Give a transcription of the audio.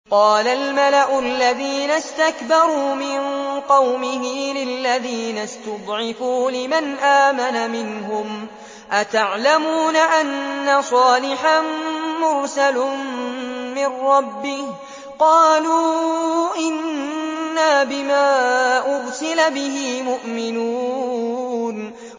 قَالَ الْمَلَأُ الَّذِينَ اسْتَكْبَرُوا مِن قَوْمِهِ لِلَّذِينَ اسْتُضْعِفُوا لِمَنْ آمَنَ مِنْهُمْ أَتَعْلَمُونَ أَنَّ صَالِحًا مُّرْسَلٌ مِّن رَّبِّهِ ۚ قَالُوا إِنَّا بِمَا أُرْسِلَ بِهِ مُؤْمِنُونَ